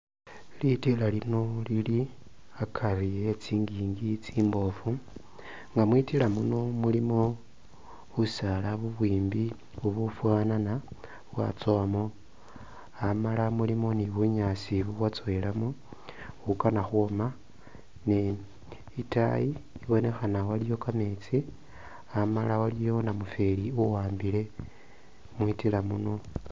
Litira lino lili hakari he tsinjinji tsimbofu nga mwitira muno mulimo busaala buwimbi bufuluma bwatsowamo hamala mulimo ni bunyaasi bubwatsowelamo bukhanakhwoma ni itaayi ibonekhana waliyo kameetsi amala waliyo namufeli uwambile mwitila muno.